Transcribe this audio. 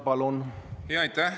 Palun!